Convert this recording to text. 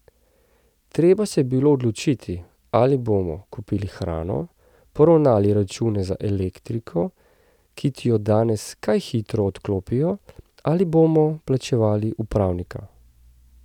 Treba se je bilo odločiti, ali bomo kupili hrano, poravnali račun za elektriko, ki ti jo danes kaj hitro odklopijo, ali bomo plačevali upravnika.